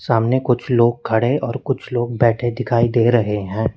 सामने कुछ लोग खड़े और कुछ लोग बैठे दिखाई दे रहे हैं।